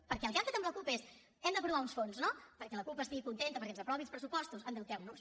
perquè el que han fet amb la cup és hem d’aprovar uns fons no perquè la cup estigui contenta perquè ens aprovi els pressupostos endeuteu nos